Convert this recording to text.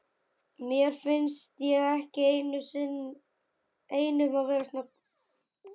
Mér finnst ég ekki einn um að vera svona